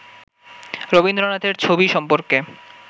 রবীন্দ্রনাথের ছবি সম্পর্কে